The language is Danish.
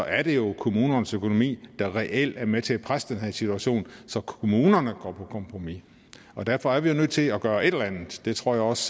er det jo kommunernes økonomi der reelt er med til at presse den her situation så kommunerne går på kompromis derfor er vi nødt til at gøre et eller andet det tror jeg også